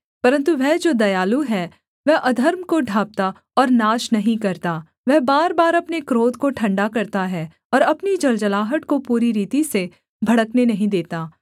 परन्तु वह जो दयालु है वह अधर्म को ढाँपता और नाश नहीं करता वह बार बार अपने क्रोध को ठण्डा करता है और अपनी जलजलाहट को पूरी रीति से भड़कने नहीं देता